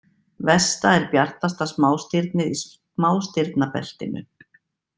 Vesta er bjartasta smástirnið í smástirnabeltinu.